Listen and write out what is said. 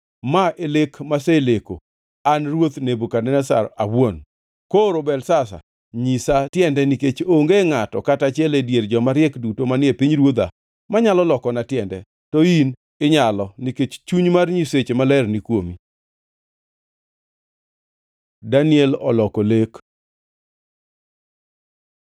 “Ma e lek maseleko, an ruoth Nebukadneza awuon. Koro, Belteshazar, nyisa tiende, nikech onge ngʼato kata achiel e dier joma riek duto manie pinyruodha manyalo lokona tiende. To in inyalo, nikech chuny mar nyiseche maler ni kuomi.” Daniel oloko lek